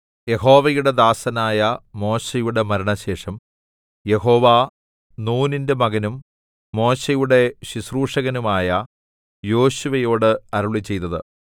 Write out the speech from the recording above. യഹോവയുടെ ദാസനായ മോശെയുടെ മരണശേഷം യഹോവ നൂനിന്റെ മകനും മോശെയുടെ ശുശ്രൂഷകനുമായ യോശുവയോടു അരുളിച്ചെയ്തത്